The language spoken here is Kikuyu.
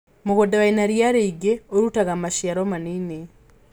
Mũgunda wĩna ria rĩingĩ ũrutaga maciaro manini.